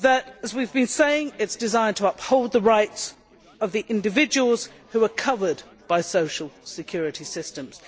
As we have been saying, it is designed to uphold the rights of individuals who are covered by social security systems.